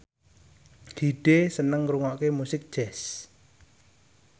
Hyde seneng ngrungokne musik jazz